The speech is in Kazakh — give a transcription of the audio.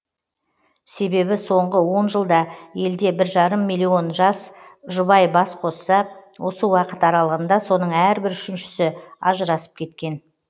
себебі соңғы он жылда елде бір жарым млн жас жұбай бас қосса осы уақыт аралығында соның әрбір үшіншісі ажырасып кеткен